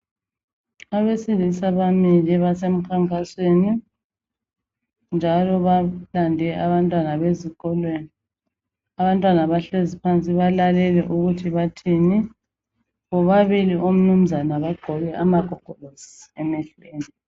Abesilisa bamile basemkhankasweni, njalo balande abantwana besikolo. Abantwana bahlezi phansi balalele. Bobabili omnumzana bagqoke amagogolosi emehlweni.